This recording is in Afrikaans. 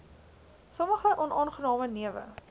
sommige onaangename newe